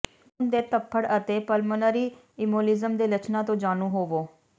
ਖੂਨ ਦੇ ਥੱਪੜ ਅਤੇ ਪਲਮੋਨਰੀ ਇਮੋਲਿਜ਼ਮ ਦੇ ਲੱਛਣਾਂ ਤੋਂ ਜਾਣੂ ਹੋਵੋ